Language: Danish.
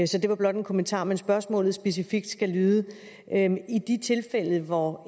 så det var blot en kommentar men spørgsmålet skal specifikt lyde i de tilfælde hvor